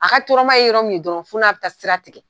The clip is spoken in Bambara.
A ka tɔɔrɔama ye yɔrɔ min ye dɔrɔn fɔ n'a bɛ taa sira tigɛ.